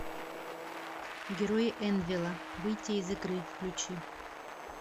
герои энвелла выйти из игры включи